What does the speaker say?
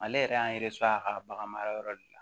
Ale yɛrɛ y'an a ka bagan marayɔrɔ de la